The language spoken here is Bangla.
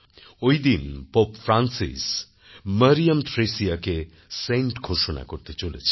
ওইদিন পোপ ফ্রান্সিস মরিয়াম থ্রেসিয়াকে সেন্ট ঘোষণা করতে চলেছেন